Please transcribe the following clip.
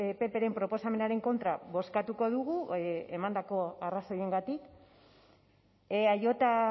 ppren proposamenaren kontra bozkatuko dugu emandako arrazoiengatik eaj